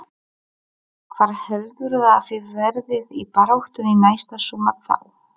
Hvar heldurðu að þið verðið í baráttunni næsta sumar þá?